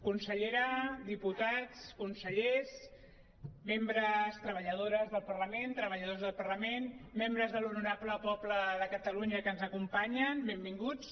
consellera diputats consellers treballadores del parlament treballadors del parlament membres de l’honorable poble de catalunya que ens acompanyen benvinguts